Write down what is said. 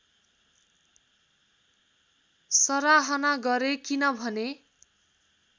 सराहना गरे किनभने